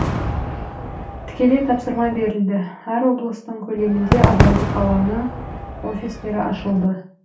тікелей тапсырма берілді әр облыстың көлемінде адалдық алаңы офистері ашылды